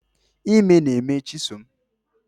Ime na-eme chisom